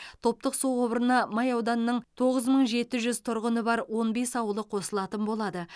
топтық су құбырына май ауданының тоғыз мың жеті жүз тұрғыны бар он бес ауылы қосылатын болады